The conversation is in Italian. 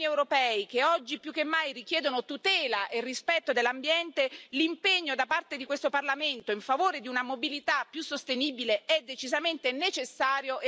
Di fronte ai cittadini europei, che oggi più che mai chiedono tutela e rispetto dell'ambiente, l'impegno da parte di questo Parlamento a favore di una mobilità più sostenibile è decisamente necessario e auspicabile.